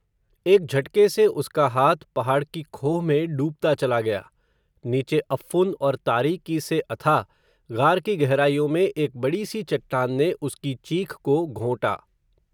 एक झटके से उसका हाथ, पहाड क़ी खोह में डूबता चला गया, नीचे अफ़्फ़ुन और तारीकी से अथाह ग़ार की गहराइयों में, एक बडी सी चट्टान ने, उसकी चीख को घोंटा